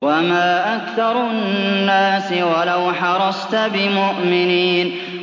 وَمَا أَكْثَرُ النَّاسِ وَلَوْ حَرَصْتَ بِمُؤْمِنِينَ